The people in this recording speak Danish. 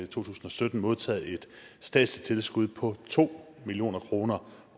tusind og sytten modtaget et statsligt tilskud på to million kroner